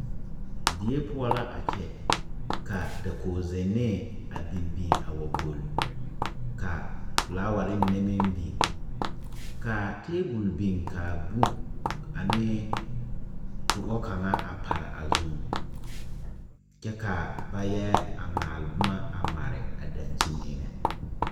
Deɛ pou la a kye ka dakogi zennee a bin bin a wa gul ka flowari mene meng bing ka tabol bing ka buk ane tuɔ kanga a pare a zung kye ka ba ye maale buma a mari a dankyeni enga.